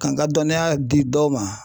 Ka n ka dɔniya di dɔ ma